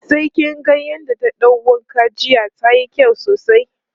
sai kin ga yadda ta ɗau wanka jiya tayi kyau sosai